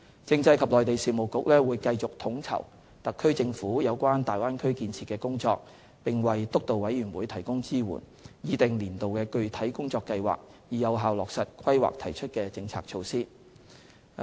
政制及內地事務局會繼續統籌特區政府有關大灣區建設的工作，並為督導委員會提供支援，擬訂年度的具體工作計劃，以有效落實《規劃》提出的政策措施。